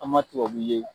An ma tubabu ye